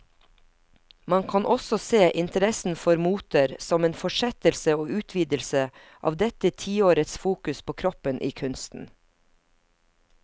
Man kan også se interessen for moter som en fortsettelse og utvidelse av dette tiårets fokus på kroppen i kunsten.